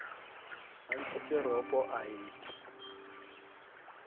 a ntshitse ropo a e